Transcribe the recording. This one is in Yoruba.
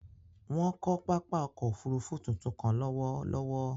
Wọn kò pápá ọkọ̀ òfurufú tuntun kàn lọwọlọwọ